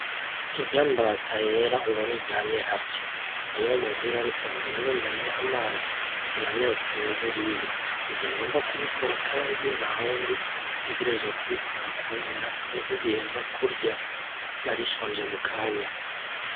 Iryambata yera ubona iryamye harya, niyo muhira reka ngende ndayihe amazi iranyotewe buriya nije ngomba kubikora kandi ntawundi utegerezwa kubikora kubera nibwo igiheza kurya yarishonje mukanya.